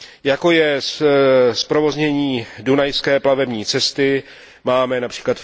jako je zprovoznění dunajské plavební cesty, máme např.